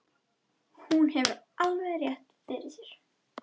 Hún hefur alveg rétt fyrir sér.